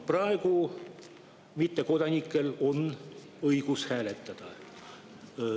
Praegu on mittekodanikel õigus hääletada.